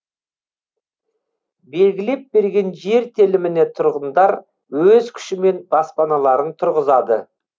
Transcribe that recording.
белгілеп берген жер теліміне тұрғындар өз күшімен баспаналарын тұрғызады